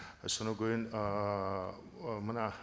содан кейін ыыы мына